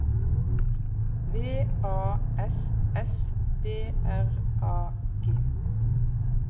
V A S S D R A G